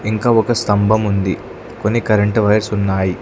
ఇంకా ఒక స్తంభం ఉంది కొన్ని కరెంటు వైర్స్ ఉన్నాయి.